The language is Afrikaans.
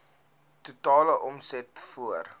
totale omset voor